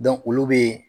olu be